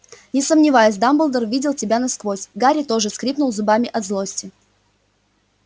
не сомневаюсь дамблдор видел тебя насквозь гарри тоже скрипнул зубами от злости